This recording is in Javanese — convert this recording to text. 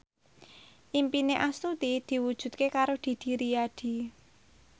impine Astuti diwujudke karo Didi Riyadi